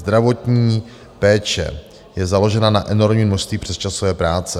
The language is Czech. Zdravotní péče je založena na enormní množství přesčasové práce.